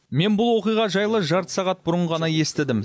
мен бұл оқиға жайлы жарты сағат бұрын ғана естідім